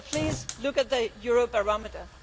So please look at the Eurobarometer.